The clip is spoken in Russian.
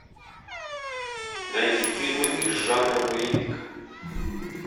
найди фильмы из жанра боевик